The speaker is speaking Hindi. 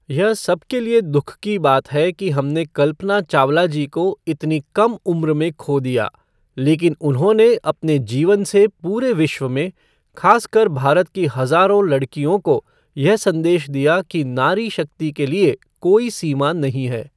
यह सबके लिए दुःख की बात है कि हमने कल्पना चावला जी को इतनी कम उम्र में खो दिया लेकिन उन्होंने अपने जीवन से पूरे विश्व में, ख़ासकर भारत की हज़ारों लड़कियों को, यह संदेश दिया कि नारी शक्ति के लिए कोई सीमा नहीं है।